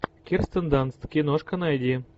кирстен данст киношка найди